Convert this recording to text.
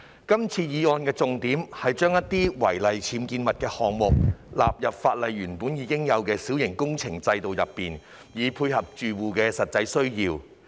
這項議案的重點是把一些違例僭建物的項目，納入法例原有的小型工程監管制度，以配合住戶的實際需要。